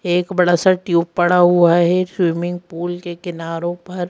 एक बड़ा सा ट्यूब पड़ा हुआ है स्विमिंग पूल के किनारों पर।